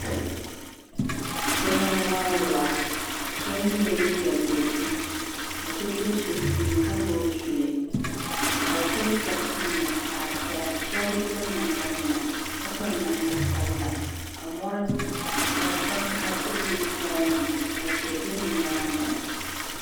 Bihi n wari waa sheba yela liiga dozim ka so be sunsuuni ka gbibi zuli ka bɛ piri soɣasi nima zaɣa piɛla sheba bi piri namda nima ka piri namda sabla ka mo'vakaha do bɛ gbaya ni tihi be bɛ nyaanga.